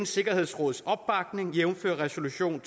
sikkerhedsråd jævnfør resolution